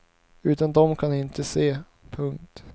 Utan dom kan han inte se. punkt